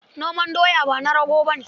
Noman doya ba na rago ba ne